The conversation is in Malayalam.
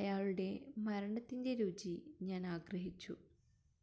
അയാളുടെ മരണത്തിന്റെ രുചി ഞാനാഗ്രഹിച്ചു